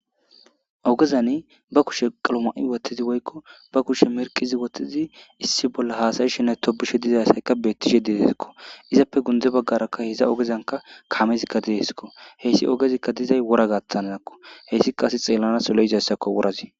ogezani ba kushe qaloma7i wathtizi woykko ba kushe merqizi wothtizi issi bolla haasayi shenay tobishe dizayssaykka beettishe deesikko izappe gunde baggarakka hiza ogezanka kamezikka dieskko heyssi ogezikka dizay wora gattanadakko heyssika asi xeellana solo izayssako worazi